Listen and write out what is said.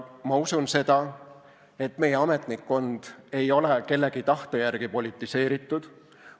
Ma usun seda, et meie ametnikkond ei ole kellegi tahte järgi politiseeritud.